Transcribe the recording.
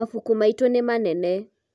mabuku maitũ nĩ manene